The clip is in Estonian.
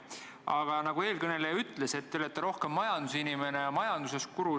Aga nagu üks eelkõneleja ütles, et te olete rohkem majandusinimene, rahandusguru.